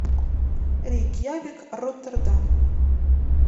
рейкьявик роттердам